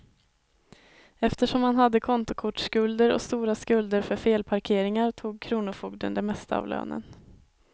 Eftersom han hade kontokortsskulder och stora skulder för felparkeringar tog kronofogden det mesta av lönen.